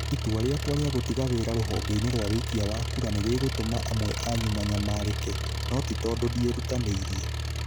Itua rĩakwa rĩa gũtiga wira rũvongeini rwa wikia wa kura nĩ rĩgũtũma amwe anyu manyamarĩke, no ti tondũ ndierutanĩirie.